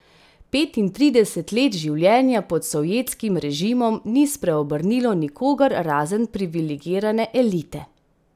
Petintrideset let življenja pod sovjetskim režimom ni spreobrnilo nikogar razen privilegirane elite.